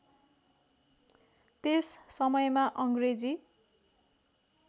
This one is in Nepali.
त्यस समयमा अङ्ग्रेजी